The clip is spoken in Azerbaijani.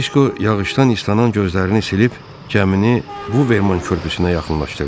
Disko yağışdan islanan gözlərini silib, gəmini Buvverman körpüsünə yaxınlaşdırdı.